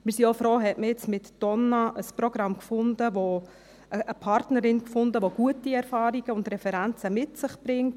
Wir sind auch froh, hat man jetzt mit «Donna» eine Partnerin gefunden, die gute Erfahrungen und Referenzen mit sich bringt.